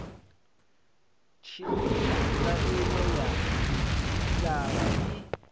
tshintsha tsaino ya didzhithala i